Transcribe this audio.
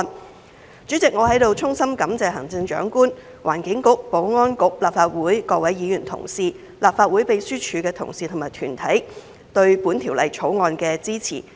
代理主席，我在此衷心感謝行政長官、環境局、保安局、立法會各位議員同事、立法會秘書處的同事和團體對本條例草案的支持。